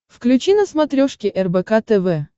включи на смотрешке рбк тв